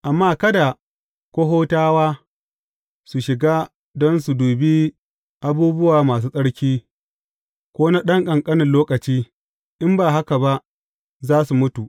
Amma kada Kohatawa su shiga don su dubi abubuwa masu tsarki, ko na ɗan ƙanƙanin lokaci, in ba haka ba za su mutu.